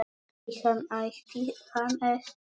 Ætti hann ætti hann ekki?